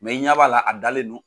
i ɲa b'a la a dalen do.